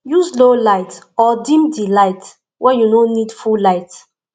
use low light or dim di light when you no need full light